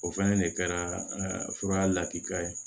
O fɛnɛ de kɛra fura lakika ye